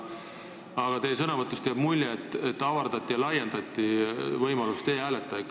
Aga teie sõnavõtust jäi ka mulje, et avardati ja laiendati võimalust e-hääletada.